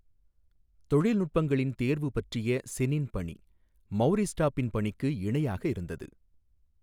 தொழில்நுட்பங்களின் தேர்வு பற்றிய செனின் பணி, மௌரிஸ் டாபின் பணிக்கு இணையாக இருந்தது.